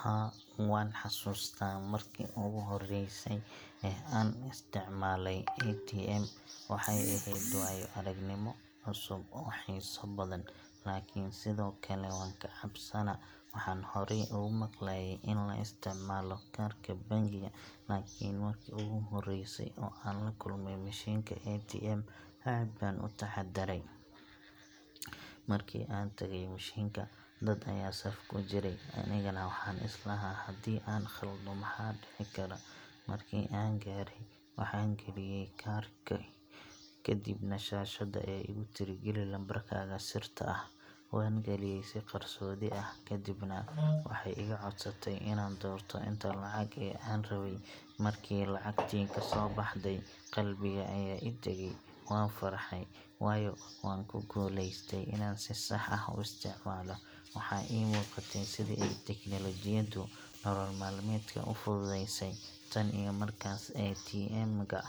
Haa, waan xasuustaa markii ugu horreysay ee aan isticmaalay ATM. Waxay ahayd waayo-aragnimo cusub oo xiiso badan, laakiin sidoo kale waan ka cabsanaa. Waxaan horay uga maqlaayey in la isticmaalo kaarka bangiga, laakiin markii ugu horreysay oo aan la kulmay mishiinka ATM, aad baan u taxaddaray. Markii aan tagay mishiinka, dad ayaa saf ku jiray, anigana waxaan is lahaa haddii aan khaldo maxaa dhici kara. Markii aan gaaray, waxaan geliyay kaarkii, kadibna shaashadda ayaa igu tiri Gali lambarkaaga sirta ah. Waan galiyay si qarsoodi ah. Kadibna waxay iga codsatay inaan doorto inta lacag ah ee aan rabay. Markii lacagtii kasoo baxday, qalbiga ayaa ii degay! Waan farxay, waayo waan ku guuleystay inaan si sax ah u isticmaalo. Waxaa ii muuqatay sida ay tiknoolajiyaddu nolol maalmeedka u fududeysay. Tan iyo markaas, ATM ga